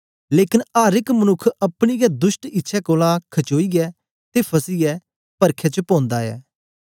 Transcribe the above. लेकन अर एक मनुक्ख अपनी गै दुष्ट इच्छै कोलां खचोइयै ते फसीयै परखै च पौंदा ऐ